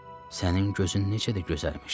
Sənin gözün necə də gözəlmiş!